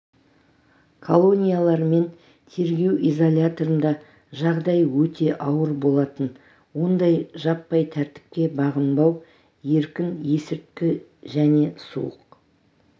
колониялар мен тергеу изоляторында жағдай өте ауыр болатын онда жаппай тәртіпке бағынбау еркін есірткі және суық